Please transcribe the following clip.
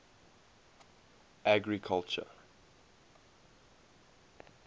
agriculture